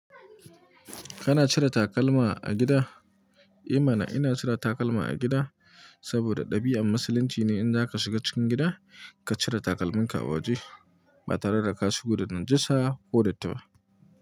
Kana cire takalma a gida? I mana ina cire takalma a gida, saboda ɗabi'an musulunci ne in za ka shiga cikin gida ka cire takalmin ka a waje ba tare da ka shigo da najasa ko datti ba.